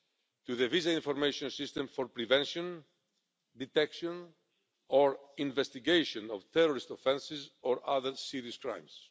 to the Visa Information System for prevention, detection or investigation of terrorist offences or other serious crimes.